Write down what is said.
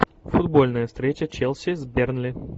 футбольная встреча челси с бернли